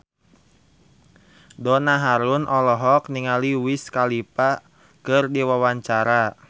Donna Harun olohok ningali Wiz Khalifa keur diwawancara